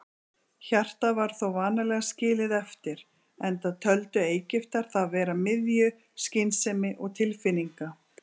Hjartað var þó vanalega skilið eftir, enda töldu Egyptar það vera miðju skynsemi og tilfinninga.